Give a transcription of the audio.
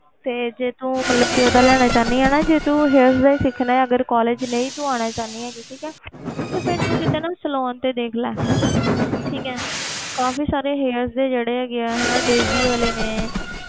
ਤੇ ਜੇ ਤੂੰ ਮਤਲਬ ਕਿ ਉਹਦਾ ਲੈਣਾ ਚਾਹੁੰਦੀ ਹੈ ਨਾ ਜੇ ਤੂੰ hairs ਦਾ ਹੀ ਸਿੱਖਣਾ ਹੈ ਅਗਰ college ਨਹੀਂ ਤੂੰ ਆਉਣਾ ਚਾਹੁੰਦੀ ਹੈਗੀ ਠੀਕ ਹੈ ਫਿਰ ਤੂੰ ਕਿਤੇ ਨਾ saloon ਤੇ ਦੇਖ ਲੈ ਠੀਕ ਹੈ ਕਾਫ਼ੀ ਸਾਰੇ hair ਦੇ ਜਿਹੜੇ ਹੈਗੇ ਹੈ ਹਨਾ ਡੇਜੀ ਵਾਲੇ ਨੇ,